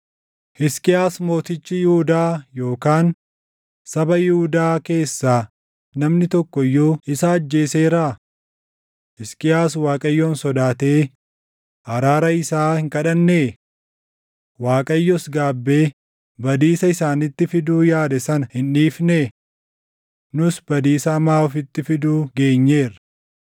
“Hisqiyaas mootichi Yihuudaa yookaan saba Yihuudaa keessaa namni tokko iyyuu isa ajjeeseeraa? Hisqiyaas Waaqayyoon sodaatee araara isaa hin kadhannee? Waaqayyos gaabbee badiisa isaanitti fiduu yaade sana hin dhiifnee? Nus badiisa hamaa ofitti fiduu geenyeerra!”